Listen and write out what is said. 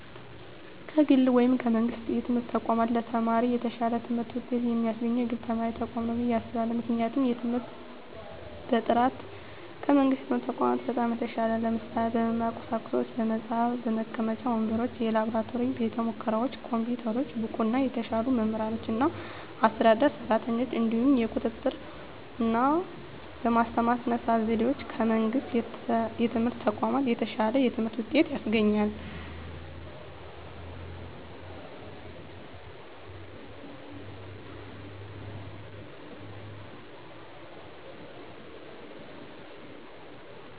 ከግል ወይም ከመንግሥት የትምህርት ተቋማት ለተማሪ የተሻለ ትምህርት ውጤት የሚያስገኘው የግል ትምህርት ተቋማት ነው ብየ አስባለሁ ምክንያቱም የትምህርት በጥራቱ ከመንግስት የትምህርት ተቋማት በጣም የተሻለ ነው ለምሳሌ - በመማሪያ ቁሳቁሶች በመፅሀፍ፣ መቀመጫ ወንበሮች፣ የላብራቶሪ ቤተሙከራዎች፣ ኮምፒውተሮች፣ ብቁና የተሻሉ መምህራኖችና አስተዳደር ሰራተኞች፣ እንዲሁም የቁጥጥ ርና በማስተማር ስነ ዘዴዎች ከመንግስት የትምህርት ተቋማት የተሻለ የትምህርት ውጤት ያስገኛል።